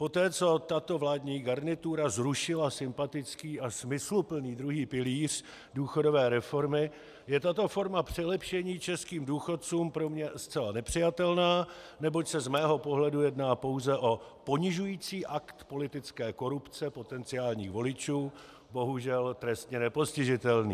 Poté, co tato vládní garnitura zrušila sympatický a smysluplný druhý pilíř důchodové reformy, je tato forma přilepšení českým důchodcům pro mě zcela nepřijatelná, neboť se z mého pohledu jedná pouze o ponižující akt politické korupce potenciálních voličů, bohužel trestně nepostižitelný.